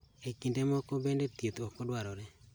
E kinde moko bende thieth ok o dwarore